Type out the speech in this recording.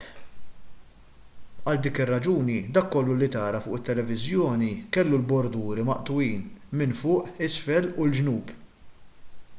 għal dik ir-raġuni dak kollu li tara fuq it-tv kellu l-borduri maqtugħin minn fuq isfel u l-ġnub